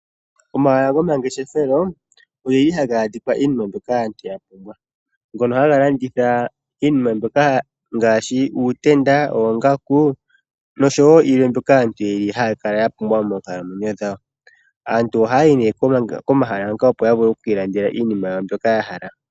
Omahala gomangeshefelo ogo nga a ga landitha inima mbyoka aantu yapumbwa haya landitha iinima ngaashi uu tenda, noo ngaku. Aantu oha ya yi pomahala ngaka opo yeli landele iinima mbyoka yapumbwa .